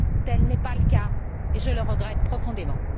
Tel n'est pas le cas, et je le regrette profondément